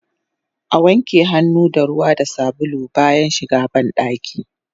Awanke hannu da ruwa da sabulu bayan shiga bandaki